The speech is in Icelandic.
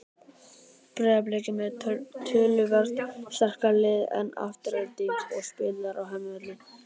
Breiðablik er með töluvert sterkara lið en Afturelding og spilar á heimavelli.